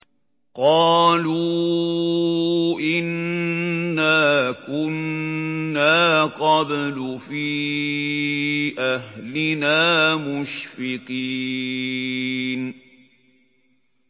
قَالُوا إِنَّا كُنَّا قَبْلُ فِي أَهْلِنَا مُشْفِقِينَ